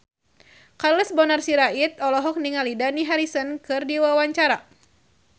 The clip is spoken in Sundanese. Charles Bonar Sirait olohok ningali Dani Harrison keur diwawancara